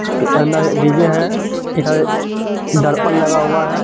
DJ है इधर दर्पण लगा हुआ है।